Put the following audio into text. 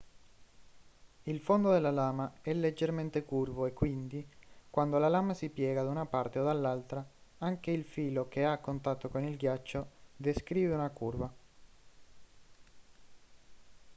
il fondo della lama è leggermente curvo e quindi quando la lama si piega da una parte o dall'altra anche il filo che è a contatto con il ghiaccio descrive una curva